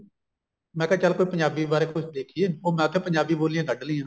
ਮੈਂ ਕਿਆ ਚੱਲ ਕੋਈ ਪੰਜਾਬੀ ਬਾਰੇ ਕੁੱਛ ਦੇਖੀਏ ਉਹ ਮੈਂ ਉੱਥੇ ਪੰਜਾਬੀ ਬੋਲਿਆ ਕੱਡ ਲਈਆਂ